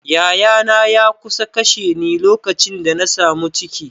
Yayana ya kusa kashe ni lokacin da na samu ciki.